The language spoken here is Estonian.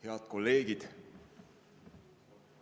Head kolleegid!